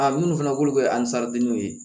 A minnu fana k'olu kɛ ansadenw ye